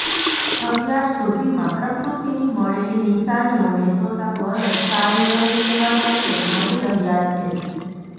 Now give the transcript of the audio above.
અત્યાર સુધીમાં પ્રકૃતિની મળેલી નિશાનીઓને જોતા વરસ સારૂ રહે તેવા સંકેત મળી રહ્યા છે